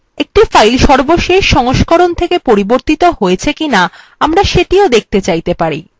একটি file সর্বশেষ সংস্করণ থেকে পরিবর্তিত হয়েছে কিনা আমরা সেটিও দেখতে চাইতে পারি